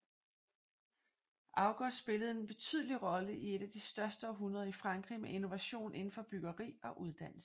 August spillede en betydelig rolle i et af de største århundreder i Frankrig med innovation inden for byggeri og uddannelse